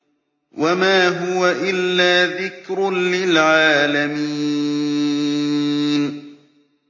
وَمَا هُوَ إِلَّا ذِكْرٌ لِّلْعَالَمِينَ